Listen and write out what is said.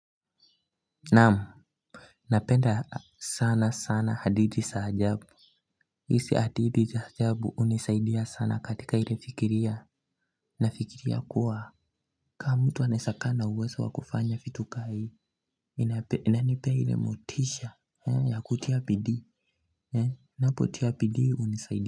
Naam napenda sana sana hadithi sa ajabu isi hadithi sa ajabu unisaidia sana katika ile fikiria nafikiria kuwa kama mtu anaesakaa na uwezo wa kufanya fitu ka hii inanipea ile motisha ya kutia bidii napotia bidii hunisaidia.